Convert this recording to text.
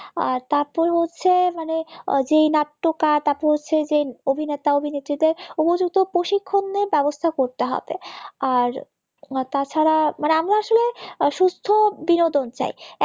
আর তারপর হচ্ছে মানে যেই নাট্যকার তারপর হচ্ছে যেই অভিনেতা-অভির নেত্রীদের উপযুক্ত প্রশিক্ষণের ব্যবস্থা করতে হবে আর তাছাড়া আমার আসলে সুস্থ বিনোদন চাই